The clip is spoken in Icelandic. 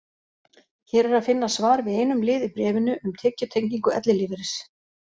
Hér er að finna svar við einum lið í bréfinu, um tekjutengingu ellilífeyris.